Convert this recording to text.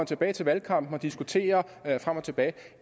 tilbage til valgkampen og diskuterer frem og tilbage